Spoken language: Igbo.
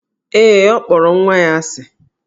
Ee, ọ kpọrọ nwa ya asị.